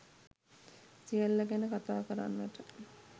සියල්ල ගැන කතා කරන්නට